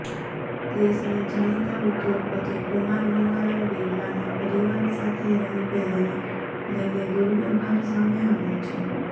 દેશના જાણીતા ઉદ્યોગપતિ કુમાર મંગલમ બિરલાના પરિવાર સાથે રંગભેદને લઈને દુર્વ્યવહાર સામે આવ્યો છે